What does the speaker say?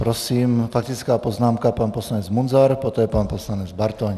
Prosím, faktická poznámka - pan poslanec Munzar, poté pan poslanec Bartoň.